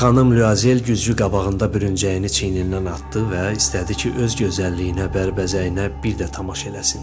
Xanım Lüazel güzgü qabağında bürüncəyini çiynindən atdı və istədi ki, öz gözəlliyinə, bərbəzəyinə bir də tamaşa eləsin.